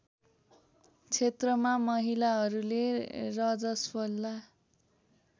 क्षेत्रमा महिलाहरूले रजस्वला